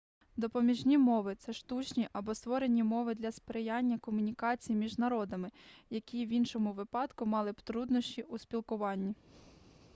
допоміжні мови це штучні або створені мови для сприяння комунікації між народами які в іншому випадку мали б труднощі у спілкуванні